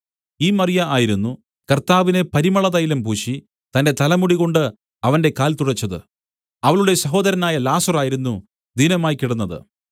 ഈ മറിയ ആയിരുന്നു കർത്താവിനെ പരിമളതൈലം പൂശി തന്റെ തലമുടികൊണ്ട് അവന്റെ കാൽ തുടച്ചത് അവളുടെ സഹോദരനായ ലാസർ ആയിരുന്നു ദീനമായ്ക്കിടന്നത്